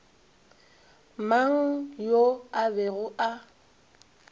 mang yo a bego a